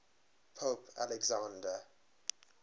pope alexander